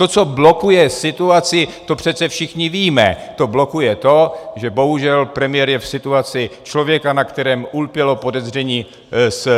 To, co blokuje situaci, to přece všichni víme, to blokuje to, že bohužel premiér je v situaci člověka, na kterém ulpělo podezření z